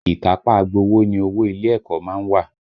Ìkápá agbowó ni owó ilé ẹ̀kọ́ má ń wà